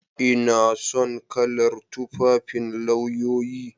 Ina son kalar tufafin lauyoyi.